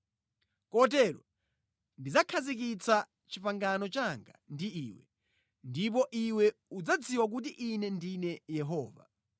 Kotero ndidzakhazikitsa pangano langa ndi iwe, ndipo iwe udzadziwa kuti Ine ndine Yehova.